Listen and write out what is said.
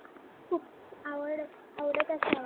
आवडत आवडत असावा.